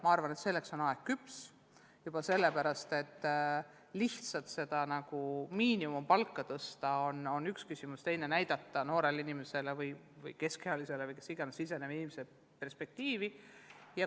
Ma arvan, et selleks on aeg küps juba sellepärast, et lihtsalt miinimumpalka tõsta on üks asi, teine asi on näidata noorele või ka keskealisele alustavale õpetajale perspektiivi.